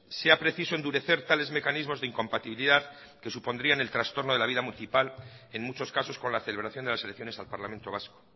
sea preciso endurecer tales mecanismos de incompatibilidad que supondrían el trastorno de la vida municipal en muchos casos con la celebración de las elecciones al parlamento vasco